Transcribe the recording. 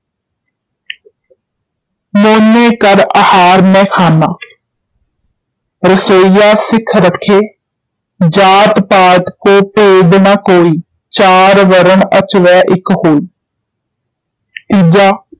mono ਕਰ ਆਹਾਰ ਨਹਿ ਖਾਨਾ ਰਸੋਈਆ ਸਿੱਖ ਰਖੇ, ਜਾਤਿ ਪਾਤਿ ਕੋ ਭੇਦ ਨਾ ਕੋਈ, ਚਾਰ ਵਰਨ ਅਚਵਹਿ ਇੱਕ ਹੋਈ ਤੀਜਾ